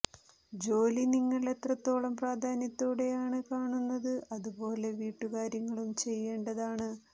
ജോലി നിങ്ങൾ എത്രത്തോളം പ്രാധാന്യത്തോടെ ആണ് കാണുന്നത് അത് പോലെ വീട്ടു കാര്യങ്ങളും ചെയ്യേണ്ടതാണ്